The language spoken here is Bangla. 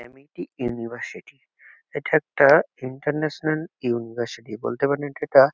অ্যামিটি ইউনিভার্সিটি এটা একটা ইন্টারন্যাশনাল ইউনিভার্সিটি বলতে পারেন এটা একটা।